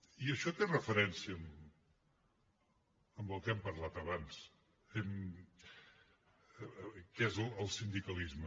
i això té relació amb el que hem parlat abans que és el sindicalisme